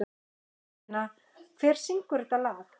Bentína, hver syngur þetta lag?